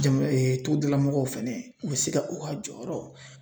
togodala mɔgɔw fɛnɛ u be se ka u ka jɔyɔrɔ